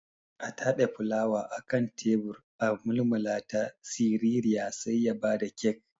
A tabe fulawa akan tebur a mulmulata siririya sai ya bada kek.